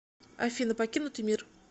афина покинутый мир